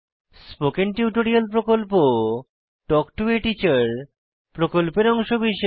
spoken tutorial প্রকল্প talk to a teacher প্রকল্পের অংশবিশেষ